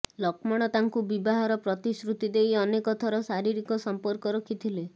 ଲକ୍ଷ୍ମଣ ତାଙ୍କୁ ବିବାହର ପ୍ରତିଶ୍ରୁତି ଦେଇ ଅନେକ ଥର ଶାରୀରିକ ସମ୍ପର୍କ ରଖିଥିଲେ